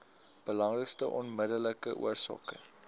belangrikste onmiddellike oorsake